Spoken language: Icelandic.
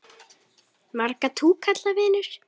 Marga túkalla vinur?